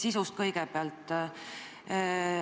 Sisust kõigepealt.